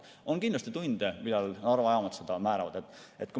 On kindlasti tunde, millal Narva jaamad seda määravad.